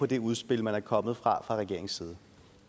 det udspil der er kommet fra regeringens side